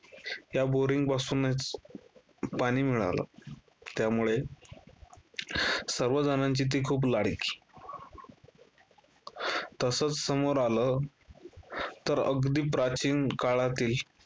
या boaring पासूनच पाणी मिळालं. त्यामुळे सर्वजणांची ती खूप लाडकी तसचं समोर आलं, तर अगदी प्राचीन काळातील